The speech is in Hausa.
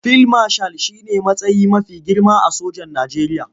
Fil mashal shi ne matsayi mafi girma a sojan Najeriya.